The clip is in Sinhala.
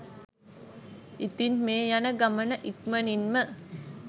ඉතින් මේ යන ගමන ඉක්මණින් ම